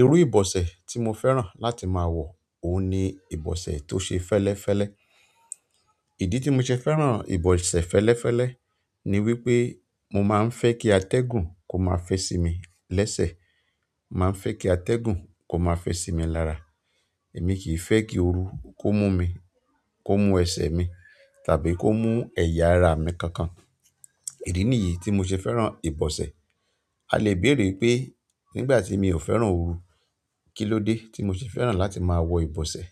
Irú ìbọ̀sẹ̀ tí mo fẹ́ràn láti máa wọ, òun ni ìbọ̀sẹ̀ tó ṣe fẹ́lẹ́fẹ́lẹ́. Ìdí tí mo ṣe fẹ́ràn ìbọ̀sẹ̀ fẹ́lẹ́fẹ́lẹ́ ni wípé mo máa ń fẹ́ kí atẹ́gùn kó maá fẹ́ sí mi lẹ́sẹ̀, mo ma ń fẹ́ kí atẹ́gùn kó máa fẹ́ sí mi lára. Èmi kì í fẹ́ kí ooru kó mú mi, kó mú ẹsẹ̀ mi tàbí kó mú ẹ̀yà ara mi kankan. Ìdí nìyí tí mo ṣe fẹ́ràn ìbọ̀sẹ̀. A lè béèrè pé nígbà tí mi ò fẹ́ràn ooru, kí ló dé tí mo ṣe fẹ́ràn láti máa wọ ìbọ̀sẹ̀?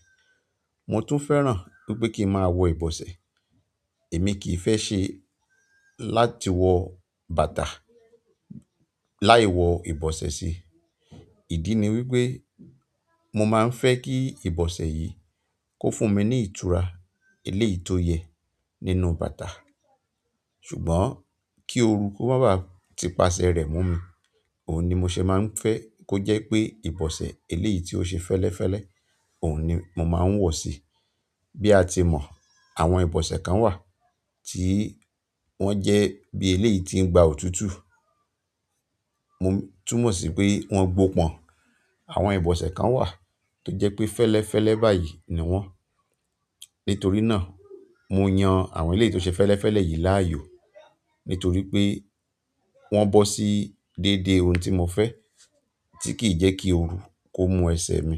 Mo tún fẹ́ràn wípé kí n máa wọ ìbọ̀sẹ̀, èmi kì í fẹ́ ṣe láti wọ bàtà láì wọ ìbọ̀sẹ̀ sí i. Ìdí ni wípé mo máa ń fẹ́ kí ìbọ̀sẹ̀ yìí kó fún mi ní ìtura eléyìí tó yẹ nínú bàtà. Ṣùgbọ́n ki ooru ki o ma ba ti ipase re mu mi, oun ni mo se ma n fe ki o je pe ibose, eleyii ti o se felefele oun ni mo ma n wo si i. Bí a ti mọ̀, àwọn ìbọ̀sẹ̀ kan wà tí wọ́n jẹ́ bí eléyìí tí ń gba òtútù. O tún mọ̀ sí pé wọ́n gbó pọ̀n. Àwọn ìbọ̀sẹ̀ kan wà tó jẹ́ pé fẹ́lẹ́fẹ́lẹ́ báyìí ni wọ́n. Nítorí náà, mo yan àwọn eléyìí tó ṣe fẹ́lẹ́fẹ́lẹ́ yìí láàyò. Nítorí pé wọ́n bọ́ sí déédéé oun tí mo fẹ́ tí kì í jẹ́ kí ooru kó mú ẹsẹ̀ mi.